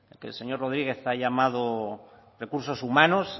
que el señor rodriguez ha llamado recursos humanos